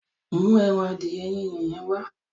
Mú ẹran adìẹ Yínyin yẹn wá.